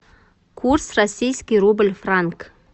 курс российский рубль франк